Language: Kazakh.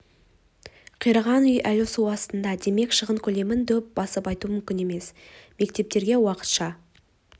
қираған үй әлі су астында демек шығын көлемін дөп басып айту мүмкін емес мектептерге уақытша